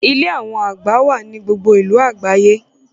Ilé awọn àgbà wà ní gbogbo ìlú àgbáyé